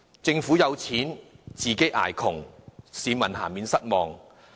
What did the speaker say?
政府有錢，自己卻要捱窮，市民難免感到失望。